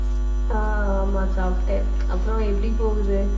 ஆஹ் ஆமா, சாப்பிட்டேன். அப்புறம் எப்படி போகுது